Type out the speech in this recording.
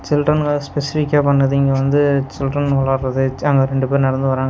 சில்ட்ரன்காக ஸ்பெசிபிக்கா பண்ணது இங்க வந்து சில்ட்ரன் விளையாடுறது அங்க ரெண்டு பேர் நடந்து வராங் --